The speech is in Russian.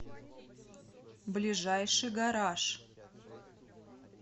ближайший гараж